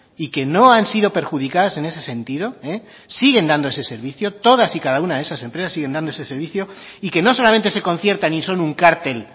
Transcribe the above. y que no han sido perjudicadas en ese sentido siguen dando ese servicio todas y cada una de esas empresas siguen dando ese servicio y que no solamente se conciertan y son un cártel